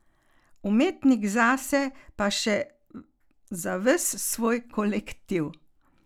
Umetnik zase pa še za ves svoj kolektiv.